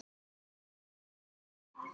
Jafnvel álög.